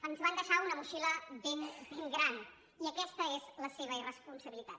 ens van deixar una motxilla ben gran i aquesta és la seva irresponsabilitat